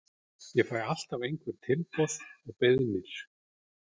Ég fæ alltaf einhver tilboð og beiðnir.